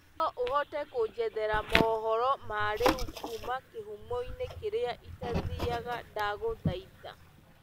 no uhote kunjethera mohoro ma riu kũma kihũmo ini kĩria itathiaga ndagũthaĩtha